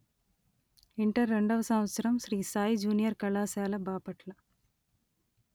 inter రెండవ సంవత్సరం Shri Sai junior కళాశాల బాపట్ల